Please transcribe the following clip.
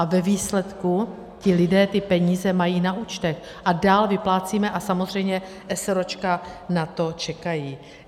A ve výsledku ti lidé ty peníze mají na účtech a dál vyplácíme a samozřejmě eseróčka na to čekají.